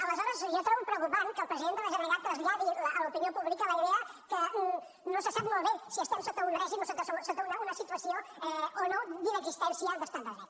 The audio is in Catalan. aleshores jo trobo preocupant que el president de la generalitat traslladi a l’opinió pública la idea que no se sap molt bé si estem sota un règim o sota una situació o no d’inexistència d’estat de dret